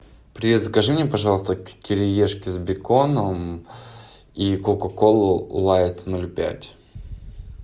привет закажи мне пожалуйста кириешки с беконом и кока колу лайт ноль пять